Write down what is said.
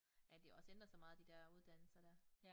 Ja de har også ændret sig meget de der uddannelser dér